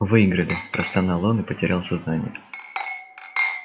выиграли простонал он и потерял сознание